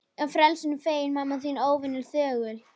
Ég frelsinu feginn, mamma þín óvenju þögul.